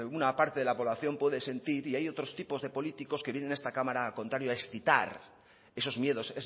una parte de la población puede sentir y hay otro tipos de políticos que vienen a esta cámara al contrario a excitar esos miedos